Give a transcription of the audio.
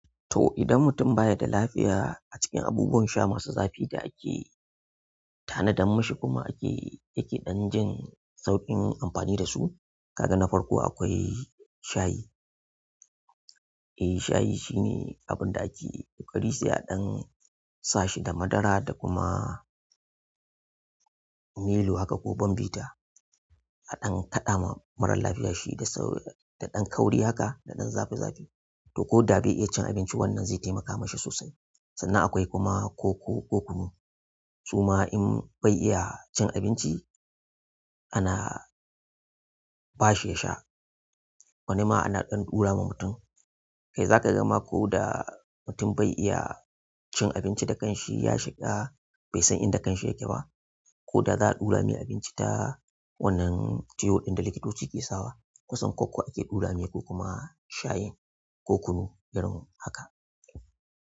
To idan mutum baya da lafiya acikin abubuwan sha masu zafi ake tanadar mishi yake dan jin sauƙin amfani dasu kaga na farko akwai shayi. Eh, shayi shine abin da ake bari sai adan sashi da madara da kuma milo haka ko bombita aɗan kaɗa wa marar lafiya shi da sau, da ɗan kauri haka da ɗan zafi zafi. To ko da bai iya cin abinci, wannan zai taimaka mashi sosai. Sannan akwai kuma koko ko kunu. Suma in bai iya cin abinci, ana ba shi ya sha. Wani ma ana ɗan ɗura ma mutum. Zaka ga ma koda mutum bai iya cin abinci da kanshi yashiga baisan inda kansa yakeba koda za'a dura mai abinci ta wannan tiyo din da likitoci ke sawa kusan koko ake ɗura mai ko kuma shayin ko kunu irin haka.